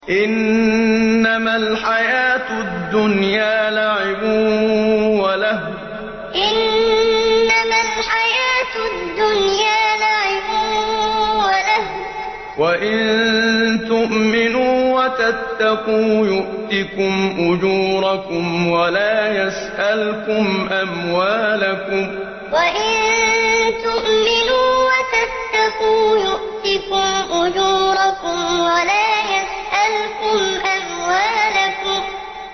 إِنَّمَا الْحَيَاةُ الدُّنْيَا لَعِبٌ وَلَهْوٌ ۚ وَإِن تُؤْمِنُوا وَتَتَّقُوا يُؤْتِكُمْ أُجُورَكُمْ وَلَا يَسْأَلْكُمْ أَمْوَالَكُمْ إِنَّمَا الْحَيَاةُ الدُّنْيَا لَعِبٌ وَلَهْوٌ ۚ وَإِن تُؤْمِنُوا وَتَتَّقُوا يُؤْتِكُمْ أُجُورَكُمْ وَلَا يَسْأَلْكُمْ أَمْوَالَكُمْ